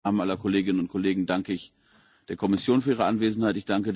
Im Namen aller Kolleginnen und Kollegen danke ich der Kommission für ihre Anwesenheit.